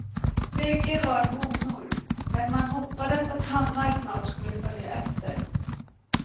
Bägge var honor, men man hoppades att hannar snart skulle följa efter.